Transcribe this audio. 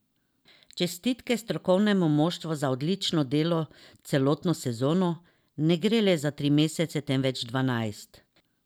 Čestitke strokovnemu moštvu za odlično delo celotno sezono, ne gre le za tri mesece, temveč dvanajst.